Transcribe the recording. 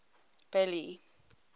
billy